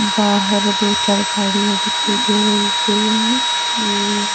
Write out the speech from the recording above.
बाहर दो चार गाड़ियां दिखाई दे रही है ये--